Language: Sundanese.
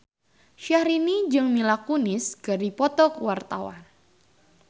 Syahrini jeung Mila Kunis keur dipoto ku wartawan